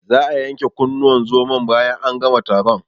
Za'a yanke kunnuwan zomon bayan an gama taron.